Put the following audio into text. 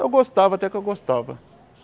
Eu gostava, até que eu gostava.